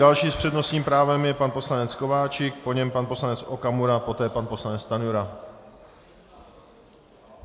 Další s přednostním právem je pan poslanec Kováčik, po něm pan poslanec Okamura, poté pan poslanec Stanjura.